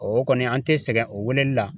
o kɔni an tɛ sɛgɛn o weeleli la